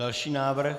Další návrh.